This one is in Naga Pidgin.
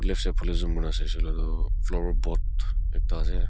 left side phale osor kurina saishey kuile tu flower pot ekta ase.